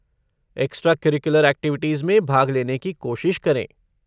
Extracurricular activities में भाग लेने की कोशिश करें।